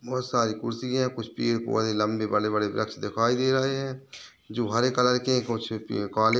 बहोत सारी कुर्सी हैं कुछ पेड़-पौधे लम्बे बड़े-बड़े वृक्ष दिखाई दे रहे हैं जो हरे कलर के कुछ प काले--